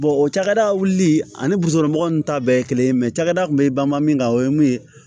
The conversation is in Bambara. o cakɛda wuli ani mɔgɔw nunnu ta bɛɛ ye kelen ye cakɛda kun bɛ banba min kan o ye mun ye